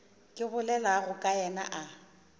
ke bolelago ka yena a